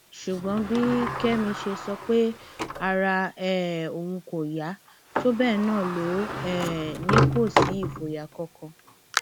ṣùgbọn bí kẹmi ṣe sọ pé ara um òun kò yá tó bẹẹ náà ló um ní kò sí ìfòyà kankan